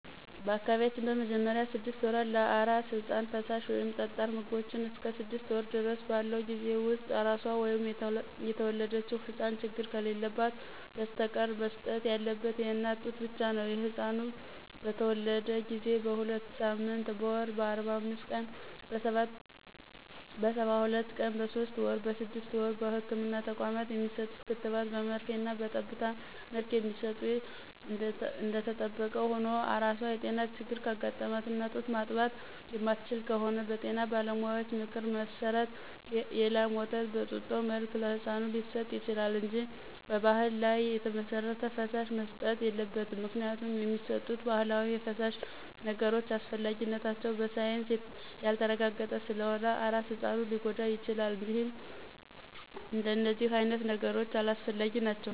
በአካባቢያችን በመጀመሪያ ስድስት ወራት ለአራስ ህጻን ፈሳሽ ወይም ጠጣር ምግቦቾ እስከ ስድስት ወር ድረስ ባለው ጊዜ ውስጥ አራሷ ወይም የተወለደው ህጻን ችግር ከሌለበት በስተቀር መሰጠት ያለበት የእናት ጡት ብቻ ነው። ህጻኑ በተተወለደ ጊዜ: በሁለትሳምንት: በወር :በአርባአምስት ቀን :በሰባሁለት ቀን በሶስት ወር: በስድስት ወር በህክምና ተቋማት የሚሰጡ ክትባት በመርፌና በጠብታ መልክ የሚሰጡ እደተጠበቀ ሁኖ አራሷ የጤና ችግር ካጋጠማትና ጡት ማጥባት የማትችል ከሆነች በጤና ባለሙያዎች ምክር መሰረት የላም ወተት በጡጦ መልክ ለህጻኑ ሊሰጥ ይችላል እንጂ በባህል ላይ የተመሰረተ ፈሳሽ መሰጠት የለበትም ምክንያቱም የሚሰጡት ባህላዊ ፈሳሽ ነገሮች አስፈላጊነታቸው በሳይንስ ያልተረጋገጠ ስለሆነ አራስ ህጻኑን ሊጎዳው ይችላል እደነዚህ አይነት ነገሮች አላስፈላጊ ናቸው።